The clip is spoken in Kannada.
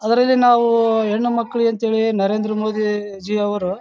ಅದ್ರಲ್ಲಿ ನಾವು ಹೆಣ್ಣು ಮಕ್ಕಳಿಗೆ ಅಂತ ಹೇಳಿ ನರೇಂದ್ರ ಮೋದಿಜಿ ಅವರು--